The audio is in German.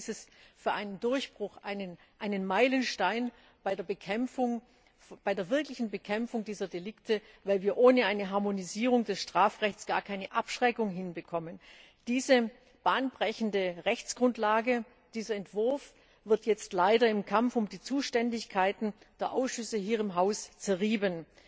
Ich halte dies für einen Durchbruch, für einen Meilenstein bei der wirklichen Bekämpfung dieser Delikte, weil wir ohne eine Harmonisierung des Strafrechts gar keine Abschreckung hinbekommen. Diese bahnbrechende Rechtsgrundlage, dieser Entwurf, wird jetzt leider im Kampf um die Zuständigkeiten der Ausschüsse hier im Haus zerrieben.